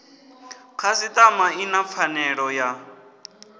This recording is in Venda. khasiṱama i na pfanelo ya